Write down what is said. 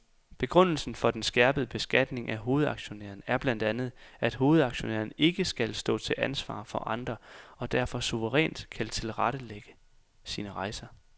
Begrundelsen for den skærpede beskatning af hovedaktionæren er blandtandet, at hovedaktionæren ikke skal stå til ansvar for andre og derfor suverænt kan tilrettelægge sine rejser.